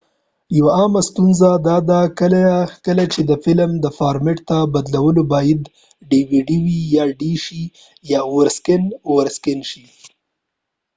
یو عامه ستونزه داده کله چې د فلم ډي وي ډیdvd فارمیټ ته بدلوو باید اوور سکېن over scan شي